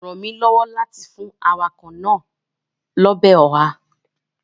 rán mí lọwọ láti fún awakọ naa Ọbẹ̀ oha.